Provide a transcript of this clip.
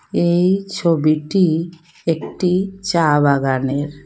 এই ছবিটি একটি চা বাগানের।